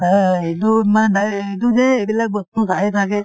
এইটো মা দাই এইটো যে এইবিলাক বস্তু থাকে